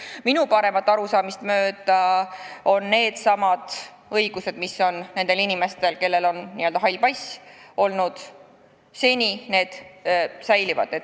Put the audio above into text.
Minu paremat arusaamist mööda needsamad õigused, mis on siiani olnud nendel inimestel, kellel on n-ö hall pass, säilivad.